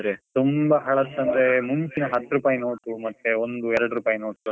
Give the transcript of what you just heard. ತುಂಬಾ ಹಳತ್ ಅಂದ್ರೆ, ಮುಂಚಿನ ಹತ್ ರೂಪಾಯಿ ನೋಟು, ಒಂದು ಎರಡು ರೂಪಾಯಿ ನೋಟುಗಳೆಲ್ಲ ಇದೆ.